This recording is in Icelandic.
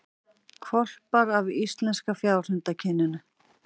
Hvolpar af íslenska fjárhundakyninu